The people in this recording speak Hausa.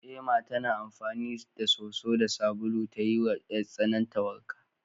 Ema tana amfani da soso da sabulu ta yiwa 'yartsanarta wanka.